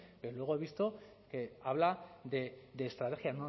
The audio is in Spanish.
pero luego he visto que habla de estrategia